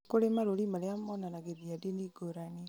nĩ kũri marũri marĩa monanagĩrĩria ndini ngũrani